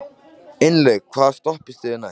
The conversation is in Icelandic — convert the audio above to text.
Ingilaug, hvaða stoppistöð er næst mér?